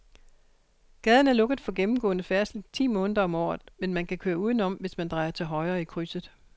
Gaden er lukket for gennemgående færdsel ti måneder om året, men man kan køre udenom, hvis man drejer til højre i krydset.